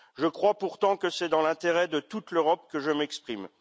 Je crois pourtant que c'est dans l'intérêt de toute l'Europe que je m'exprime.